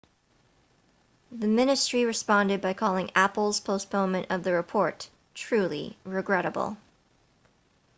the ministry responded by calling apple's postponement of the report truly regrettable